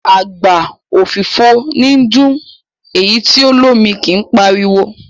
Àgbá òfìfo níí dún, èyí tí o lómi kí páriwo.